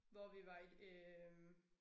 Hvor vi var i øh